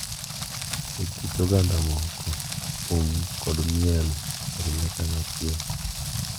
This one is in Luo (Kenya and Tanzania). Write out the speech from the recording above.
E kit oganda moko, thum kod miel oriwre kanyachiel,